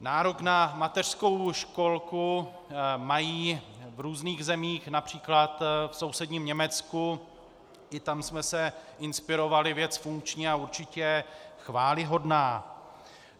Nárok na mateřskou školku mají v různých zemích, například v sousedním Německu, i tam jsme se inspirovali, věc funkční a určitě chvályhodná.